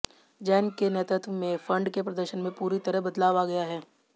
जैन के नेतृत्व में फंड के प्रदर्शन में पूरी तरह बदलाव आ गया है